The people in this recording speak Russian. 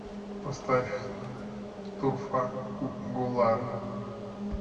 поставь турфа гуллар